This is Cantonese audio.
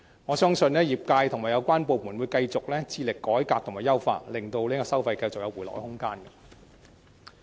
我相信業界和有關部門會繼續致力改革和優化，令收費繼續有回落的空間。